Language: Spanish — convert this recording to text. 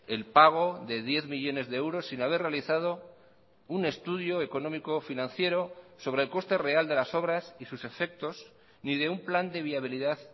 el pago de diez millónes de euros sin haber realizado un estudio económico financiero sobre el coste real de las obras y sus efectos ni de un plan de viabilidad